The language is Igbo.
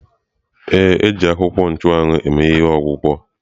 Ee, a akwuko nchuawu eme ihe maka ọgwụgwọ.